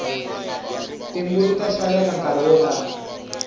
timbuti ta xaveka nkarhi wo tani